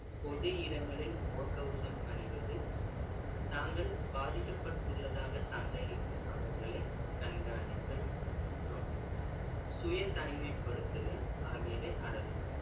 பொது இடங்களில் முகக்கவசம் அணிவது, தாங்கள் பாதிக்கப்பட்டுள்ளதாக சந்தேகிக்கும் நபர்களைக் கண்காணித்தல் மற்றும் சுய தனிமைப்படுத்துதல் ஆகியவை அடங்கும்